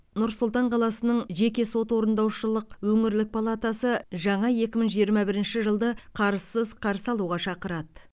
нұр сұлтан қаласының жеке сот орындаушылық өңірлік палатасы жаңа екі мың жиырма бірінші жылды қарызсыз қарсы алуға шақырады